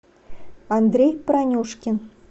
андрей пронюшкин